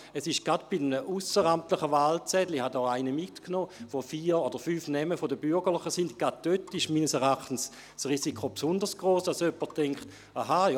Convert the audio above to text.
Gerade bei einem ausseramtlichen Wahlzettel – ich habe einen solchen mitgebracht – mit vier oder fünf Namen von Bürgerlichen ist das Risiko meines Erachtens besonders hoch, sodass jemand denken könnte: